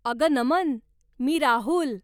अगं नमन, मी राहुल